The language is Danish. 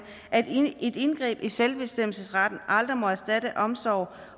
at et indgreb i selvbestemmelsesretten aldrig må erstatte omsorg